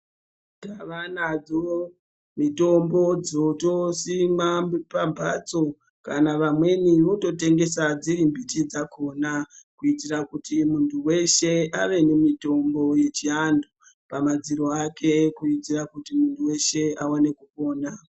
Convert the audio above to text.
Tava nadzo mitombo dzotosimwa pamhpatso kana vamweni vototengesa dziri mbiti dzakhona kuitira kuti munthu weshe ave nemitombo yechianthu pamadziro ake kuitira kuti munthu weshe awane kupona.